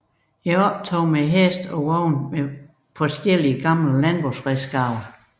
Optog med heste og vogne med forskellige gamle landbrugsredskaber